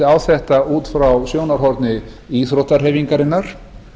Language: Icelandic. á þetta út frá sjónarhorni íþróttahreyfingarinnar